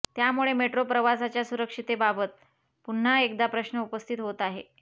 त्यामुळे मेट्रो प्रवासाच्या सुरक्षिततेबाबत पुन्हा एकदा प्रश्न उपस्थित होत आहेत